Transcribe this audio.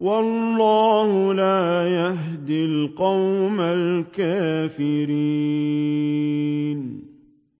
وَاللَّهُ لَا يَهْدِي الْقَوْمَ الْكَافِرِينَ